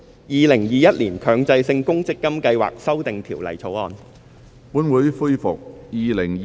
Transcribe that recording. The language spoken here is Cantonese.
《2021年強制性公積金計劃條例草案》。